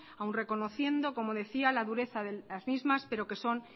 aún reconociendo como decía la dureza de las mismas pero que son